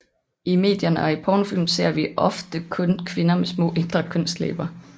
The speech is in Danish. I medierne og i pornofilm ser vi ofte kun kvinder med små indre kønslæber